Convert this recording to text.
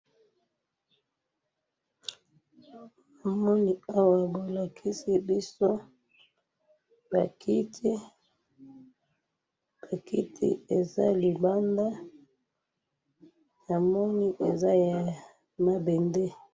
namoni awa bo lakisi biso ba kiti, ba kiti eza libanda, namoni eza ya mabende